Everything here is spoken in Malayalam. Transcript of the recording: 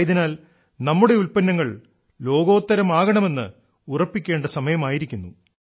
ആയതിനാൽ നമ്മുടെ ഉല്പ്പന്നങ്ങൾ ലോകോത്തരമാകണെന്ന് ഉറപ്പിക്കേണ്ട സമയമായിരിക്കുന്നു